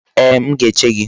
Ee, m ga-eche gị.